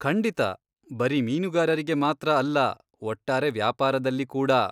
ಖಂಡಿತ! ಬರೀ ಮೀನುಗಾರಿಗೆ ಮಾತ್ರ ಅಲ್ಲಾ ಒಟ್ಟಾರೆ ವ್ಯಾಪಾರದಲ್ಲಿ ಕೂಡಾ.